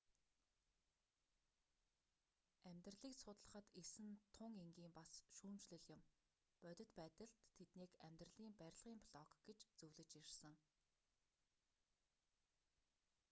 амьдралийг судлахад эс нь тун энгийн бас шүүмжлэм юм бодит байдалд тэднийг амьдралийн барилгын блок гэж зөвлөж ирсэн